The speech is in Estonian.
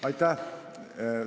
Aitäh!